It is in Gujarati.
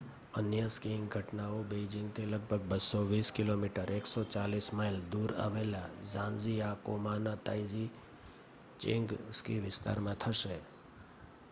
અન્ય સ્કીઇંગ ઘટનાઓ બેઇજિંગથી લગભગ 220 કિમી 140 માઇલ દૂર આવેલા ઝાંજીઆકોમાંના તાઇઝીચેંગ સ્કી વિસ્તારમાં થશે